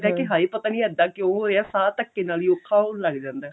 ਜਾਈਦਾ ਹਾਏ ਪਤਾ ਨਹੀਂ ਇੱਦਾਂ ਕਿਉਂ ਕਿਉਂ ਹੋਇਆ ਸਾਂਹ ਧੱਕੇ ਨਾਲ ਹੀ ਔਖਾ ਹੋਣ ਲੱਗ ਜਾਂਦਾ